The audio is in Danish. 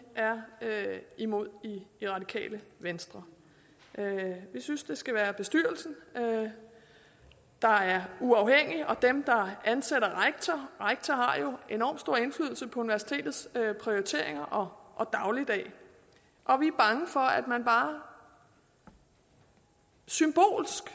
er imod i radikale venstre vi synes det skal være bestyrelsen der er uafhængig og den der ansætter rektor rektor har jo enorm stor indflydelse på universitets prioriteringer og dagligdag og vi er bange for at man bare symbolsk